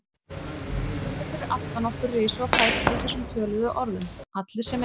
Hermennirnir fyrir aftan okkur risu á fætur í þessum töluðum orðum, allir sem einn.